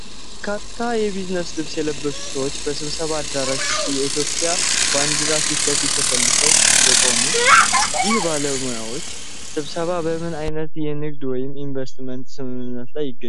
በርካታ የቢዝነስ ልብስ የለበሱ ሰዎች በስብሰባ አዳራሽ ውስጥ የኢትዮጵያ ባንዲራ ፊት ለፊት ተሰልፈው የቆሙት፣ ይህ የባለሙያዎች ስብስብ በምን አይነት የንግድ ወይም የኢንቨስትመንት ስምምነት ላይ ይገኛሉ?